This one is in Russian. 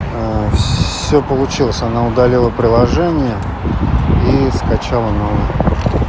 всё получилось она удалила приложение и скачала новое